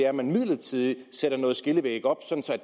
at man midlertidigt sætter nogle skillevægge op så